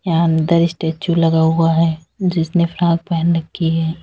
यहां अंदर स्टैचू लगा हुआ है जिसने फ्रॉक पहन रखी है।